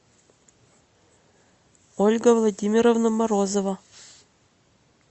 ольга владимировна морозова